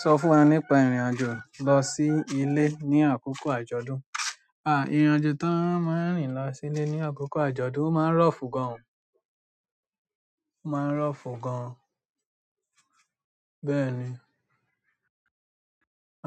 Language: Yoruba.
Sọ fún wa nípa ìrìn-àjò lọ sí ilé ní àkókò àjọ̀dún. À, ìrìn-àjò tó máa ń rìn lọ sí ilé ní àkókò àjọ̀dún máa ń rough gan, máa ń rough gan. Bẹ́ẹ̀ ni,